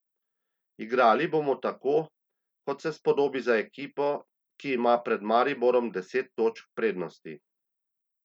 Igrali bomo tako, kot se spodobi za ekipo, ki ima pred Mariborom deset točk prednosti.